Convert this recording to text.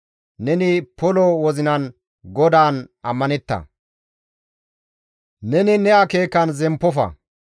Neni polo wozinan GODAAN ammanetta; neni ne akeekan zemppofa.